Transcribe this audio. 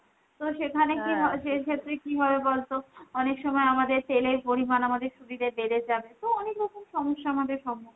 তো সেখানে কি হয়, সেক্ষেত্রে কি হবে বলতো অনেক সময় আমাদের তেলের পরিমান আমাদের শরীরে বেড়ে যাবে তো অনেক রকম সমস্যা আমাদের সম্মুখীন হতে হয়।